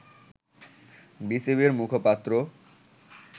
বিসিবি’র মুখপাত্র